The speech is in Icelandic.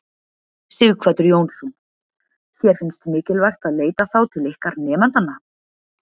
Sighvatur Jónsson: Þér finnst mikilvægt að leita þá til ykkar nemendanna?